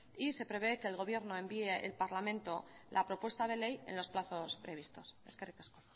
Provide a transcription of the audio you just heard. y se prevé que el gobierno envíe al parlamento la propuesta de ley en los plazos previstos eskerrik asko